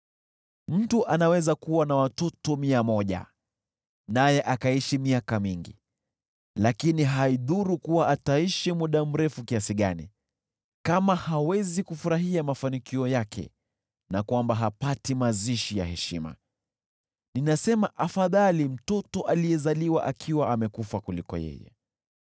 Mtu anaweza kuwa na watoto mia moja naye akaishi miaka mingi, lakini haidhuru kuwa ataishi muda mrefu kiasi gani, kama hawezi kufurahia mafanikio yake na kwamba hapati mazishi ya heshima, ninasema afadhali mtoto aliyezaliwa akiwa amekufa kuliko yeye.